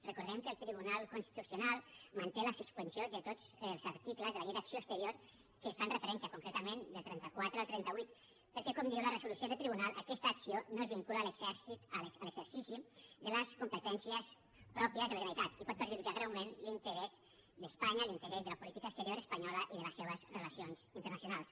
recordem que el tribunal constitucional manté la suspensió de tots els articles de la llei d’acció exterior que hi fan referència concretament del trenta quatre al trenta vuit perquè com diu la resolució del tribunal aquesta acció no es vincula a l’exercici de les competències pròpies de la generalitat i pot perjudicar greument l’interès d’espanya l’interès de la política exterior espanyola i de les seves relacions internacionals